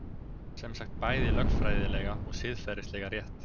Semsagt bæði lögfræðilega og siðferðislega rétt